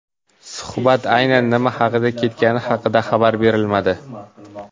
Suhbat aynan nima haqida ketgani haqida xabar berilmadi.